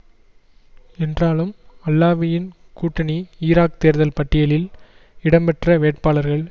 என்றாலும் அல்லாவியின் கூட்டணி ஈராக் தேர்தல் பட்டியலில் இடம்பெற்ற வேட்பாளர்கள்